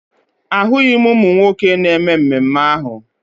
Ahụghị m ụmụ nwoke na mmemme ahụ